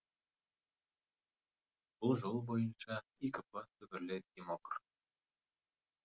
бұл жол бойынша икп түбірлі демокр